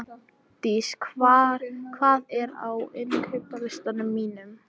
Magndís, hvað er á innkaupalistanum mínum?